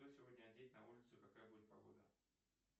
что сегодня одеть на улицу и какая будет погода